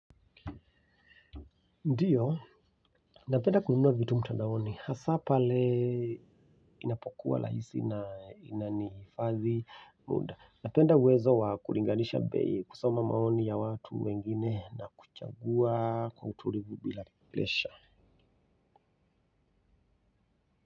Ndiyo, napenda kununua vitu mtandaoni, hasa pale inapokuwa lahisi na inanihifadhi muda. Napenda uwezo wa kuringanisha bei, kusoma maoni ya watu wengine na kuchagua kwa utulivu bila presha.